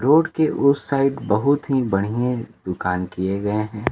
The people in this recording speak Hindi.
रोड के उस साइड बहुत ही बढ़ियें दुकान किए गए हैं।